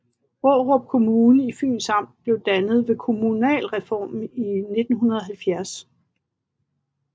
Aarup Kommune i Fyns Amt blev dannet ved kommunalreformen i 1970